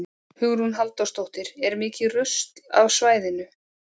Hugrún Halldórsdóttir: Er mikið af rusli á svæðinu?